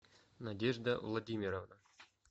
надежда владимировна